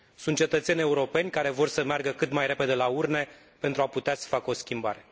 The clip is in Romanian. Sunt cetățeni europeni care vor să meargă cât mai repede la urne pentru a putea să facă o schimbare.